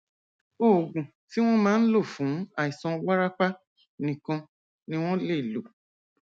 oògùn tí wọn máa ń lò fún àìsàn wárápá nìkan ni wọn lè lò